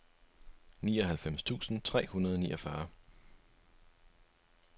nioghalvfems tusind tre hundrede og niogfyrre